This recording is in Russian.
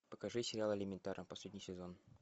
покажи сериал элементарно последний сезон